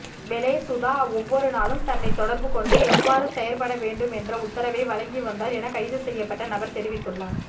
வெலே சுதா ஓவ்வொருநாளும் தன்னை தொடர்புகொண்டு எவ்வாறு செயற்படவேண்டும் என்ற உத்தரவை வழங்கிவந்தார் என கைதுசெய்யப்பட்ட நபர் தெரிவித்துள்ளார்